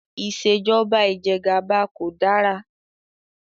Ìṣèjọba Ìjẹgàba kò dára